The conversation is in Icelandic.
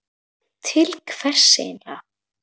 Til hvers eigin lega?